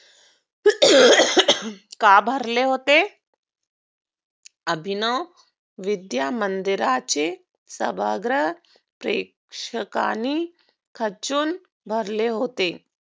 का भरले होते? अभिनव विद्या मंदिराचे सभागृह प्रेक्षकाने खचुन भरलेले होते.